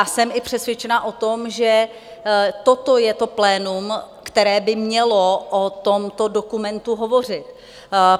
A jsem i přesvědčena o tom, že toto je to plénum, které by mělo o tomto dokumentu hovořit.